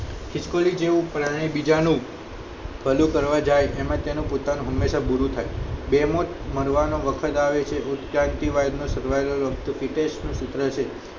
ખીશ્કોલી જેવું પ્રાણી બીજા નું ભલું કરવા જાય એમાં તેનું પોતાનું બુરું થાય બેમાં મારવાન વખત આવે હોમ શાંતિ survival વખત હિતેશ નું સૂત્ર છે